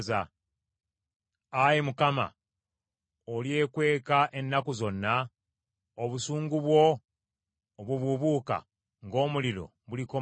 Ayi Mukama , olyekweka ennaku zonna? Obusungu bwo obubuubuuka ng’omuliro bulikoma ddi?